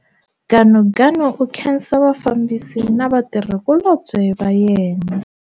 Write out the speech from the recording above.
Ganuganu u khensa vafambisi na vatirhikulobye va yena.